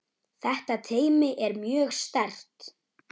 Þetta teymi er mjög sterkt.